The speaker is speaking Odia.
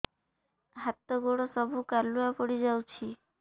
ହାତ ଗୋଡ ସବୁ କାଲୁଆ ପଡି ଯାଉଛି